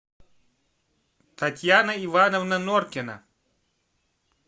татьяна ивановна норкина